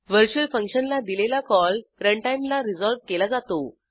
virtual फंक्शनला दिलेला call run time ला रिझॉल्व केला जातो